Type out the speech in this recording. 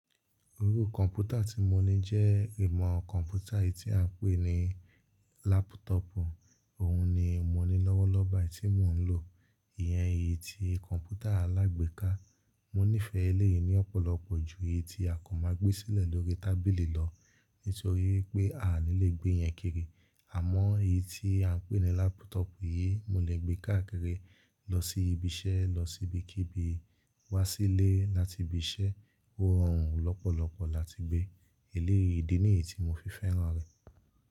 Orúkọ kọ̀mpútà tí mo ní jẹ́ ìmọ̀ kọ̀mpútà èyí tí à ń pè ní lápútọ̀pù. Òhun ni mo ní lọ́wọ́lọ́wọ́ báyìí tí mò ń lò. Iyẹn èyí tí kọ̀mpútà alágbèéká. Mo nífẹ̀ẹ́ eléyìí yìí ní ọ̀pọ̀lọpọ̀ ju èyí tí a kò bá gbé sílẹ̀ lórí tábìlì lọ nítorí pé a o lè gbé ìyẹn kiri. Àmọ́ èyí tí à ń pè ní lápútọ̀pù yìí, mo lè gbé káàkiri, lọ sí ibi iṣẹ́, lọ sí ibi kíbi, wá sílé láti ibi iṣẹ́, ó rọrùn lọ́pọ̀lọpọ̀ láti gbé. Eléyìí yìí, ìdi nìyí tí mo fi fẹ́ràn rẹ̀.